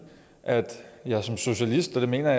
jeg som socialist og det mener